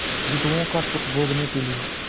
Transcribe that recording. विभवों का सुख भोगने के लिए